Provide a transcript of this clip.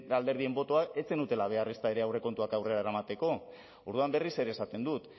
alderdien botoak ez zenutela behar ezta ere aurrekontuak aurrera eramateko orduan berriz ere esaten dut